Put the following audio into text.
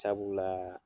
Sabula